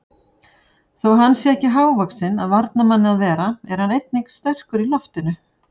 Þó hann sé ekki hávaxinn af varnarmanni að vera er hann einnig sterkur í loftinu.